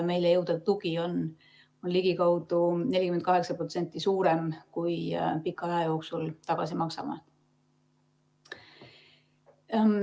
Meile jõudev tugi on ligikaudu 48% suurem, kui me pika aja jooksul tagasi maksame.